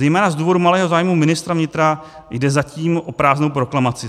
Zejména z důvodu malého zájmu ministra vnitra jde zatím o prázdnou proklamaci.